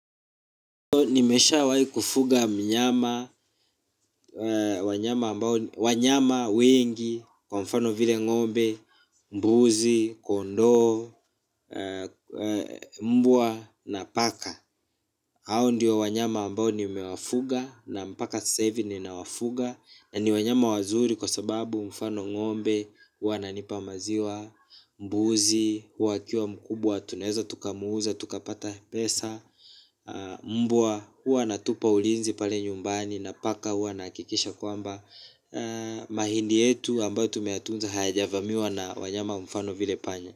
Nimeshawahi kufuga mnyama wanyama wengi kwa mfano vile ngombe, mbuzi, kondoo, mbwaa na paka hao ndiyo wanyama ambao nimewafuga na mpaka sasa hivi ni na wafuga. Na ni wanyama wazuri kwa sababu mfano ngombe, wananipa maziwa, mbuuzi, wakia mkubwa, tunaeza, tukamuuza, tukapata pesa. Mbwa hua natupa ulinzi pale nyumbani. Na paka hua anahakikisha kwamba mahindi yetu ambayo tumeyatunza hayaja vamiwa na wanyama mfano vile panya.